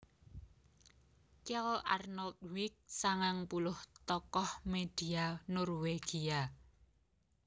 Kjell Arnljot Wig sangang puluh tokoh média Norwégia